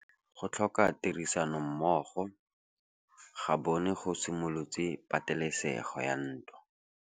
Go tlhoka tirsanommogo ga bone go simolotse patêlêsêgô ya ntwa.